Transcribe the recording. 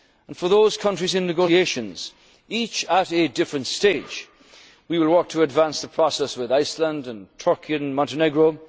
1 July of this year. For those countries in negotiations, each at a different stage, we will work to advance the process with Iceland,